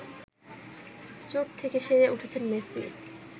চোট থেকে সেরে উঠেছেন মেসি